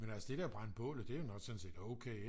men altså det der brænde bålet det er jo nok sådan set okay ik